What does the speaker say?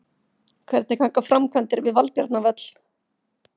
Hvernig ganga framkvæmdir við Valbjarnarvöll?